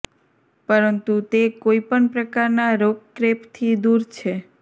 પરંતુ તે કોઈ પણ પ્રકારના રોક રેપથી દૂર છે